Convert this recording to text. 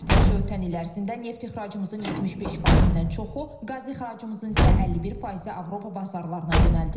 Təkcə ötən il ərzində neft ixracımızın 75%-dən çoxu, qaz ixracımızın isə 51%-i Avropa bazarlarına yönəldilib.